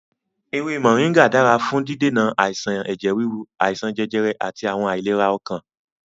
Ewé Mọ̀ríngà dára fún dídènà àìsàn ẹ̀jẹ̀ ríru, àìsàn jẹjẹrẹ àti àwọn àìlera ọkàn.